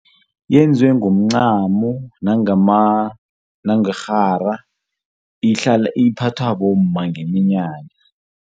Yenzwe ngomncamo nangerhara ihlala iphathwa bomma nqeminyanya.